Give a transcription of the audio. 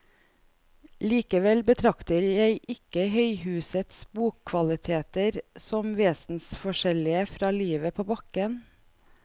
Likevel betrakter jeg ikke høyhusets bokvaliteter som vesensforskjellige fra livet på bakken.